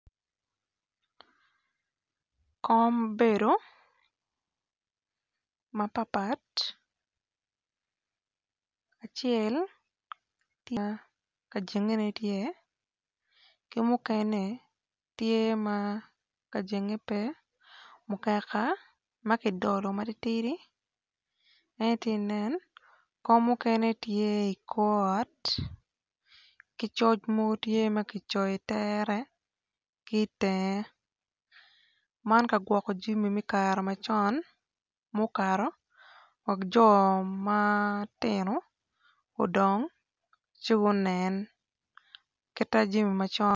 Kom bedo mapatpat acel ma ka jengene tye ki mukene tye ma ka jengene pe mukeka ma ki dolo matitidi en aye ti nen kom mukene tye i kor ot ki coc mogo tye ma ki coyo i tere ki itenge man ka gwokko cimi mi kara macon mukato wek co matino gudong ci gunen kit ta jimi macon